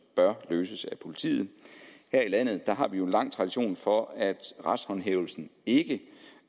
bør løses af politiet her i landet har vi jo en lang tradition for at retshåndhævelsen ikke